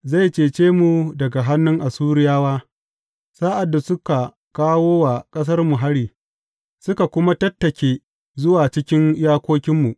Zai cece mu daga hannun Assuriyawa sa’ad da suka kawo wa ƙasarmu hari suka kuma tattake zuwa cikin iyakokinmu.